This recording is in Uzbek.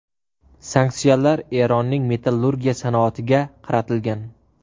Sanksiyalar Eronning metallurgiya sanoatiga qaratilgan.